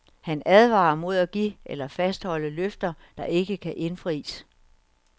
Han advarer mod at give eller fastholde løfter, der ikke kan indfries.